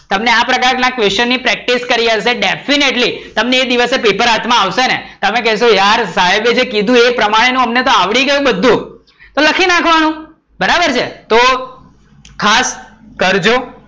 તમને આ પ્રકાર ના ક equation પ્રેકટીસ કરી હશે, definatly તમને એ દિવસે પેપર હાથ માં આવશે ને તમે કેસો યાર સાહેબે જે કીધું હતું એ પ્રમાણે નું અમને આવડી ગયું બધું બધુજ તો લખી નાખવાનું, બરાબર છે તો ખાસ કરજો